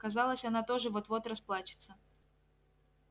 казалось она тоже вот-вот расплачется